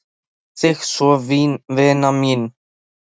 Ég kveð þig svo vina mín.